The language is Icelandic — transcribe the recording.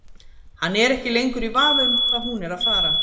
Hann er ekki lengur í vafa um hvað hún er að fara.